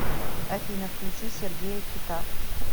афина включи сергея кита